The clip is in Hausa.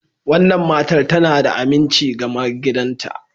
wannan matar tana da aminci ga maigidanta.